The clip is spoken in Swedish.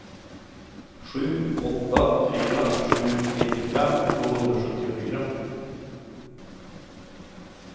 sju åtta fyra sju nittiofem tvåhundrasjuttiofyra